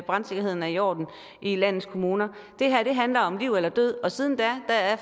brandsikkerheden er i orden i landets kommuner det her handler om liv eller død siden da er